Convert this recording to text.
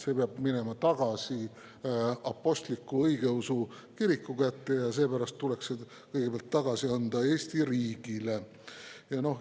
See peab minema tagasi apostliku õigeusu kiriku kätte ja seepärast tuleks see kõigepealt anda tagasi Eesti riigile.